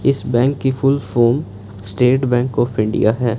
इस बैंक की full form State Bank of India है।